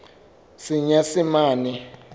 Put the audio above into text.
senyesemane